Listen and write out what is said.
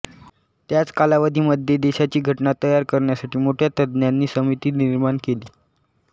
त्याच कालावधी मध्ये देशाची घटना तयार करण्यासाठी मोठ्या तंज्ञांची समिती निर्माण केली